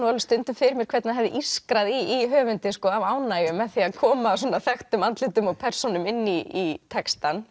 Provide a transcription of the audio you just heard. stundum fyrir mér hvernig hefur ískrað í höfundi af ánægju með því að koma svona þekktum andlitum og persónum inn í textann